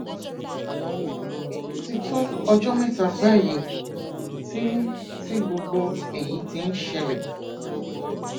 ó ti tó ọjọ mẹta báyìí tí tí gbogbo èyí ti ń ṣẹlẹ